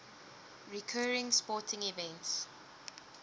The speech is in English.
recurring sporting events